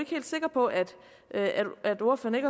helt sikker på at ordføreren